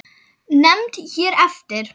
Nefnd hér eftir